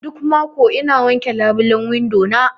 Duk mako ina wake labilen windo na.